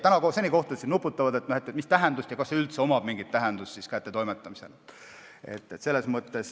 Kohtunikud nuputavad, mis tähendus sel on ja kas sel üldse on mingit tähendust kättetoimetamisel.